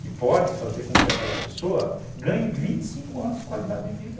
Que pode fazer com que aquela pessoa ganhe vinte e cinco anos de qualidade de vida.